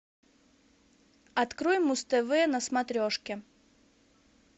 открой муз тв на смотрешке